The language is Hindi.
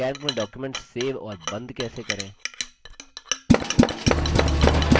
calc में document सेव और बंद कैसे करें